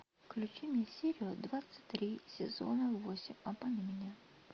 включи мне серию двадцать три сезона восемь обмани меня